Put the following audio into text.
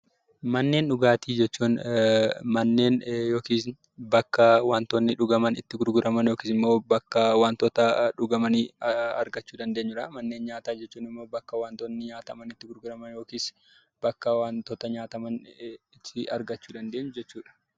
Manneen dhugaatii jechuun manneen yookiis bakka waantonni dhugaman itti gurguraman yookiis immoo bakka waantota dhugamanii argachuu dandeenyudha. Manneen nyaataa jechuun immoo bakka waantonni nyaataman itti gurguraman yookiis bakka waantota nyaataman itti argachuu dandeenyu jechuudha.